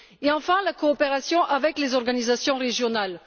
Enfin, la coopération avec les organisations régionales.